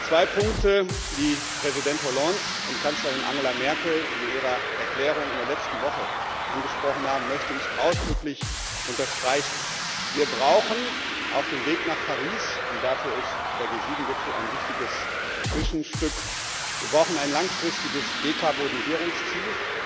Zwei Punkte, die Präsident Hollande und Kanzlerin Angela Merkel in ihrer Erklärung in der letzten Woche angesprochen haben, möchte ich ausdrücklich unterstreichen Wir brauchen auf dem Weg nach Paris und dafür ist der G7 Gipfel ein wichtiges Zwischenstück ein langfristiges Dekarbonsierungsziel.